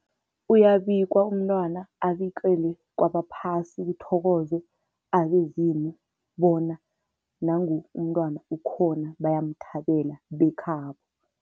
Uyabikwa umntwana, abikelwe kwabaphasi, kuthokozwe abezimu bona nangu umntwana ukhona bayamthabela bekhabo.